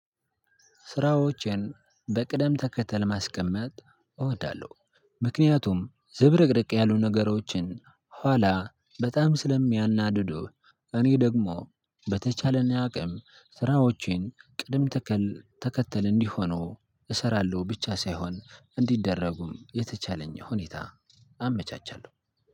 ስራዎችን በቅደም ተከተል ማስቀመጥ እወዳለሁ። ምክንያቱም ዝብርቅርቅ ያሉ ነገሮችን ኋላ በጣም ስለሚያናድዱ። እኔ ደግሞ በተቻለኝ አቅም ስራዎቼን ቅድም ተከል ተከተል እንዲሆኑ እሰራለሁ ብቻ ሳይሆን እንዲደረጉም የተቻለኝ ሁኔታ አመቻቻለሁ።